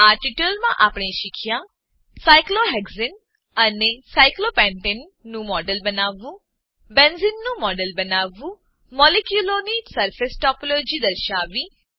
આ ટ્યુટોરીયલમાં આપણે શીખ્યા સાયક્લોહેક્સાને સાયક્લોહેક્ઝેન અને સાયક્લોપેન્ટને સાયક્લોપેન્ટેન નું મોડેલ બનાવવું બેન્ઝેને નું મોડેલ બનાવવું મોલેક્યુંલોની સરફેસ ટોપોલોજી સરફેસ ટોપોલોજી દર્શાવવી